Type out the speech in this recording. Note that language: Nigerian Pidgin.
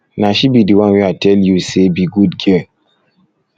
na she be the one wey i tell you say be good girl